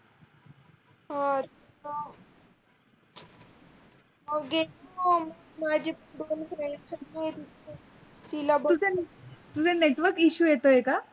अह तुझा network issue येतय का?